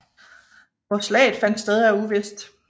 Hvor slaget fandt sted er uvist